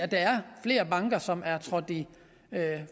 der flere banker som er trådt i